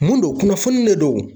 Mun don? Kunnafoni ne don o.